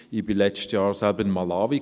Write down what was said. Ich war letztes Jahr selbst in Malawi.